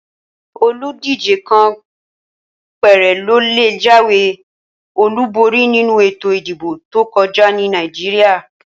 Oludije kàn péré ló lè jáwé Olu borí nínú ètò ìdìbò tó kọjá ní Nàìjíríà